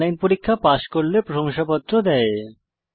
online পরীক্ষা pass করলে প্রশংসাপত্র দেয়